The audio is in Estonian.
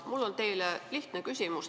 Mul on teile lihtne küsimus.